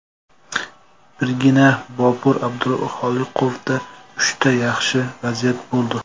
Birgina Bobur Abduxoliqovda uchta yaxshi vaziyat bo‘ldi.